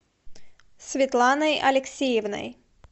светланой алексеевной